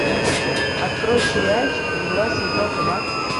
открой сериальчик мгла сезон два